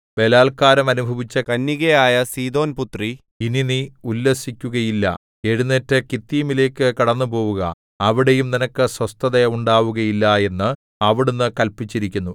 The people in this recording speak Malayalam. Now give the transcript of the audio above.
ബലാല്ക്കാരം അനുഭവിച്ച കന്യകയായ സീദോൻപുത്രീ ഇനി നീ ഉല്ലസിക്കുകയില്ല എഴുന്നേറ്റു കിത്തീമിലേക്കു കടന്നുപോവുക അവിടെയും നിനക്ക് സ്വസ്ഥത ഉണ്ടാവുകയില്ല എന്ന് അവിടുന്ന് കല്പിച്ചിരിക്കുന്നു